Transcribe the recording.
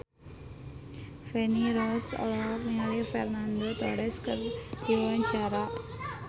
Feni Rose olohok ningali Fernando Torres keur diwawancara